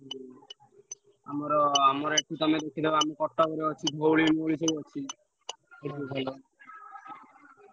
ହୁଁ ଆମର ଆମର ଏଠି ତମେ ଦେଖିଦବ ଆମ କଟକରେ ଅଛି ଧଉଳି ସବୁ ଅଛି ।